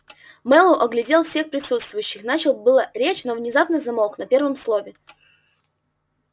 мэллоу оглядел всех присутствующих начал было речь но внезапно замолк на первом слове